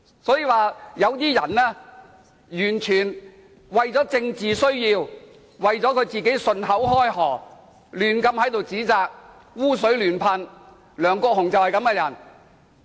所以，有些人完全是為了政治需要，便信口開河，在此胡亂指責，"污水"亂噴，梁國雄議員就是這種人。